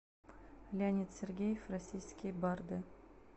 леонид сергеев российские барды